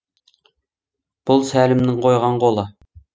бұл сәлімнің қойған қолы